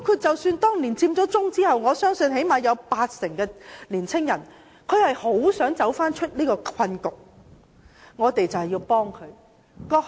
在佔中之後，我相信最少八成青年人很想走出這個困局，我們要幫助他們。